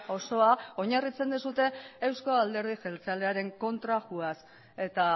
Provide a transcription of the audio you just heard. osoa oinarritzen duzue euzko alderdi jeltzalearen kontra joaz eta